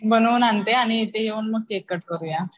बनवून आणते आणि इथं येऊन मग केक कट करूया.